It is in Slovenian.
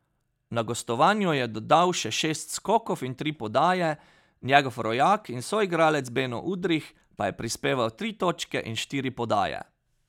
Na gostovanju je dodal še šest skokov in tri podaje, njegov rojak in soigralec Beno Udrih pa je prispeval tri točke in štiri podaje.